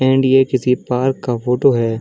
And ये किसी park का फोटो है।